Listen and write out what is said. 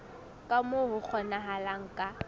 ka moo ho kgonahalang ka